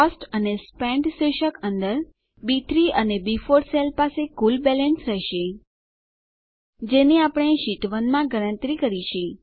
cost અને spent શીર્ષક અંદર બી3 અને બી4 સેલ પાસે કુલ બેલેન્સ રહેશે જેની આપણે શીટ 1 માં ગણતરી કરી છે